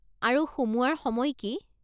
আৰু সোমোৱাৰ সময় কি?